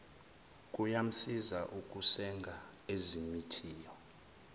kuyamsiza ukusenga ezimithiyo